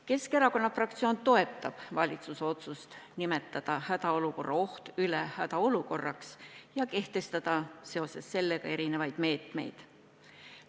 Keskerakonna fraktsioon toetab valitsuse otsust nimetada hädaolukorra oht üle hädaolukorraks ja kehtestada seoses sellega vajalikud meetmed.